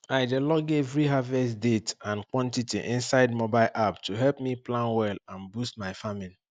i dey log every harvest date and quantity inside mobile app to help me plan well and boost my farming